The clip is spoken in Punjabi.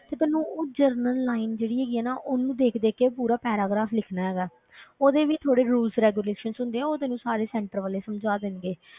ਤੇ ਤੈਨੂੰ ਉਹ general line ਜਿਹੜੀ ਹੈਗੀ ਹੈ ਨਾ ਉਹਨੂੰ ਦੇਖ ਦੇਖ ਕੇ ਪੂਰਾ paragraph ਲਿਖਣਾ ਹੈਗਾ ਹੈ ਉਹਦੇ ਵੀ ਥੋੜ੍ਹੇ rule regulations ਹੁੰਦੇ ਹੈ ਉਹ ਤੈਨੂੰ ਸਾਰੇ center ਵਾਲੇ ਸਮਝਾ ਦੇਣਗੇ,